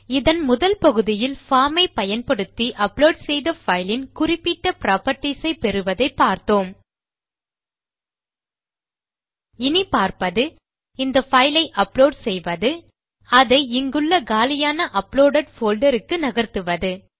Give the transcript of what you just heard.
இதன் முதல் பகுதியில் பார்ம் ஐ பயன்படுத்தி அப்லோட் செய்த பைலின் குறிப்பிட்ட புராப்பர்ட்டீஸ் ஐ பெறுவதை பார்த்தோம் இனி பார்ப்பது இந்த பைல் ஐ அப்லோட் செய்வது அதை இங்குள்ள காலியான அப்லோடெட் போல்டர் க்கு நகர்த்துவது